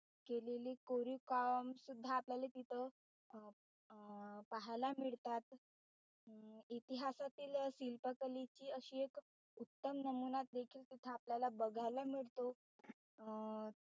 केलीली कोरीव काम सुद्धा आपल्याला तिथं अं पाहायला मिळतात इतीहासतील शिल्पकलेची अशी एक उत्तम नमुना देखील तिथे आपल्यला बघायला मिळतो अं